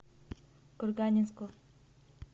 курганинску